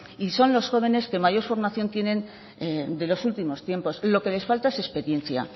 y son los jóvenes los que mayor formación tienen de los últimos tiempos lo que les falta es experiencia